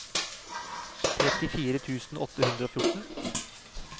trettifire tusen åtte hundre og fjorten